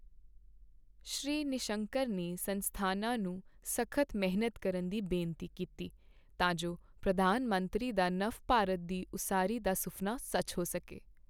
ਸ਼੍ਰੀ ਨਿਸ਼ੰਕ ਨੇ ਸੰਸਥਾਨਾਂ ਨੂੰ ਸਖ਼ਤ ਮਿਹਨਤ ਕਰਨ ਦੀ ਬੇਨਤੀ ਕੀਤੀ, ਤਾਂ ਜੋ ਪ੍ਰਧਾਨ ਮੰਤਰੀ ਦਾ ਨਵ ਭਾਰਤ ਦੀ ਉਸਾਰੀ ਦਾ ਸੁਫਨਾ ਸੱਚ ਹੋ ਸਕੇ।